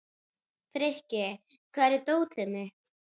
Frikki, hvar er dótið mitt?